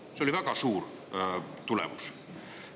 See oli väga hea tulemus.